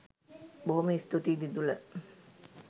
බොහොම ස්තූතියි දිදුල